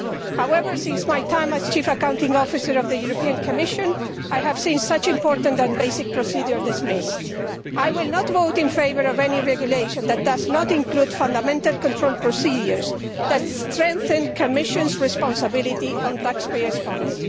However, since my time as chief accounting officer of the European Commission, I have seen such important and basic procedures dismissed. I will not vote in favour of any regulation that does not include fundamental control procedures that strengthen the Commission's responsibility regarding taxpayers' funds.